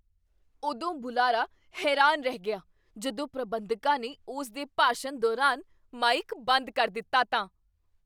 ਉਦੋਂ ਬੁਲਾਰਾ ਹੈਰਾਨ ਰਹਿ ਗਿਆ ਜਦੋਂ ਪ੍ਰਬੰਧਕਾਂ ਨੇ ਉਸ ਦੇ ਭਾਸ਼ਣ ਦੌਰਾਨ ਮਾਈਕ ਬੰਦ ਕਰ ਦਿੱਤਾ ਤਾਂ।